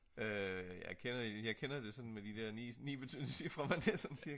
jeg kender det sådan med de der 9 ciffre